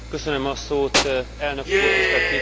Elnök úr, tisztelt képviselőtársaim!